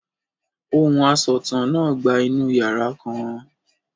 Ohùn asọ̀tàn náà gba inú yàrá kan.